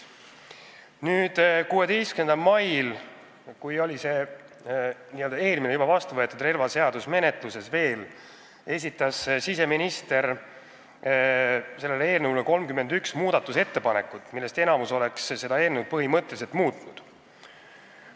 Nüüd, 16. mail, kui see hiljem vastuvõetud eelnõu 615 oli veel menetluses, esitas siseminister selle kohta 31 muudatusettepanekut, millest enamik oleks eelnõu põhimõtteliselt muutnud.